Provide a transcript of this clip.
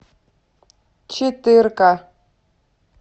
четырка